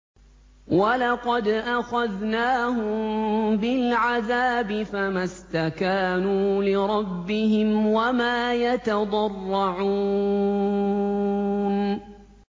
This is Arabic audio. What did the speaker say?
وَلَقَدْ أَخَذْنَاهُم بِالْعَذَابِ فَمَا اسْتَكَانُوا لِرَبِّهِمْ وَمَا يَتَضَرَّعُونَ